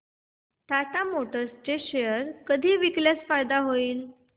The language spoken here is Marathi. टाटा मोटर्स चे शेअर कधी विकल्यास फायदा होईल